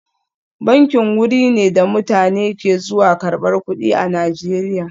Banki wuri ne da mutane ke zuwa karbar kudi a Najeriya